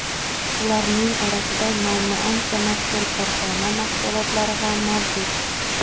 Ularning orasida nomi ancha mashhur korxona mahsulotlari ham mavjud.